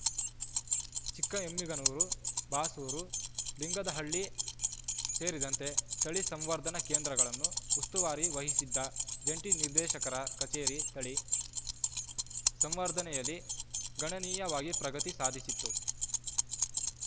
ಚಿಕ್ಕಎಮ್ಮಿಗನೂರು ಬಾಸೂರು ಲಿಂಗದಹಳ್ಳಿ ಸೇರಿದಂತೆ ತಳಿ ಸಂವರ್ಧನಾ ಕೇಂದ್ರಗಳನ್ನು ಉಸ್ತುವಾರಿ ವಹಿಸಿದ್ದ ಜಂಟಿ ನಿರ್ದೇಶಕರ ಕಚೇರಿ ತಳಿ ಸಂವರ್ಧನೆಯಲ್ಲಿ ಗಣನೀಯವಾಗಿ ಪ್ರಗತಿ ಸಾಧಿಸಿತ್ತು